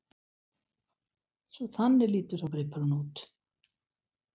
Svo þannig lítur þá gripurinn út!